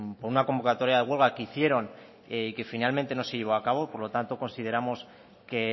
por una convocatoria de huelga que hicieron y que finalmente no se llevó a cabo por lo tanto consideramos que